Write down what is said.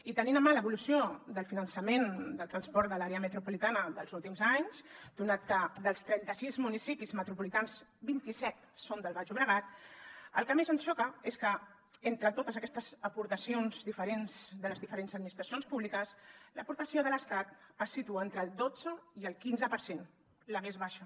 i tenint en mà l’evolució del finançament del transport de l’àrea metropolitana dels últims anys donat que dels trenta sis municipis metropolitans vint iset són del baix llobregat el que més ens xoca és que entre totes aquestes aportacions diferents de les diferents administracions públiques l’aportació de l’estat es situa entre el dotze i el quinze per cent la més baixa